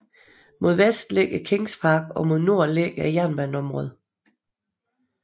Mod vest ligger Kings Park og mod nord jernbaneområdet